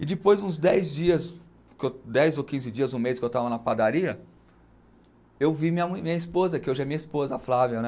E depois uns dez dias, dez ou quinze dias, um mês que eu estava na padaria, eu vi minha esposa, que hoje é minha esposa, a Flávia, né?